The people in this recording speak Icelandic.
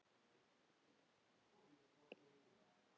Hvar er drifið mitt?